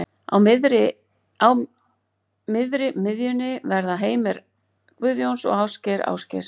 Á miðri miðjunni verða Heimir Guðjóns og Ásgeir Ásgeirs.